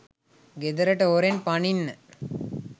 ගෙදරට හොරෙන් පනින්න